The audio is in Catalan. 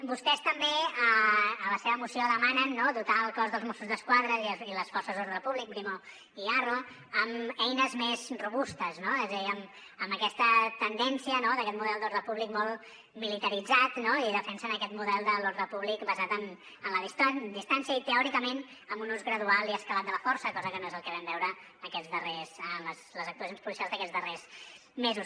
vostès també a la seva moció demanen no dotar el cos dels mossos d’esquadra i les forces d’ordre públic brimo i arro amb eines més robustes no és a dir amb aquesta tendència d’aquest model d’ordre públic molt militaritzat i defensen aquest model de l’ordre públic basat en la distància i teòricament amb un ús gradual i escalat de la força cosa que no és el que vam veure en les actuacions policials d’aquests darrers mesos